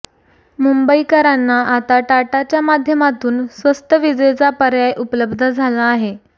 मुंबईकरांना आता टाटाच्या माध्यमातून स्वस्त विजेचा पर्याय उपलब्ध झाला आहे